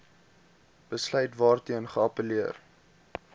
besluit waarteen geappelleer